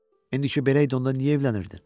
İndi ki, belə idi, onda niyə evlənirdin?